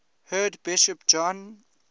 head bishop john